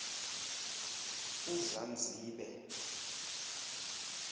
uzanzibe